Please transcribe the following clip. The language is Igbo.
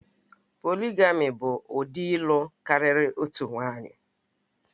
Polịgami bụ ụdị ịlụ karịa otu nwanyị